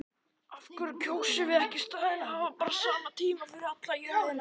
Af hverju kjósum við ekki í staðinn að hafa bara sama tíma yfir alla jörðina?